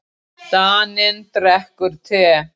Daninn drekkur te.